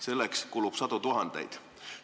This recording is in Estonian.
Selleks kulub sadu tuhandeid.